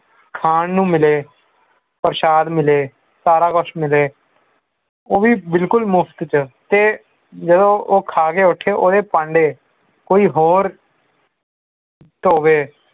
ਖਾਨ ਨੂੰ ਮਿਲੇ ਪ੍ਰਸ਼ਾਦ ਮਿਲੇ ਸਾਰਾ ਕੁਝ ਮਿਲੇ ਉਹ ਵੀ ਬਿਲਕੁਲ ਮੁਫਤ ਚ ਤੇ ਜਦੋਂ ਉਹ ਖਾਕੇ ਉਥੇ ਉਸ ਦੇ ਭਾਂਡੇ ਕੋਈ ਹੋਰ ਧੋਵੈ